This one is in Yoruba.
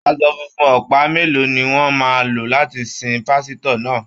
Aṣọ funfun ọ̀pá mélòó ni wọ́n máa lò láti sin pásítọ̀ náà??